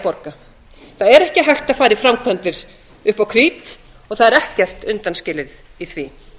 borga það er ekki hægt að fara í framkvæmdir upp á krít og það er ekkert undanskilið í því